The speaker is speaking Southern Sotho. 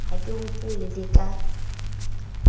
ha ke hopole le ka